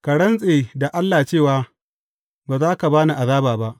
Ka rantse da Allah cewa ba za ka ba ni azaba ba!